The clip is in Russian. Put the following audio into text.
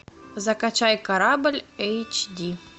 закачай корабль эйч ди